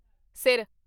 ਸਿਰ